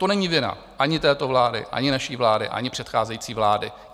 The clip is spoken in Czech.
To není vina ani této vlády, ani naší vlády, ani předcházející vlády.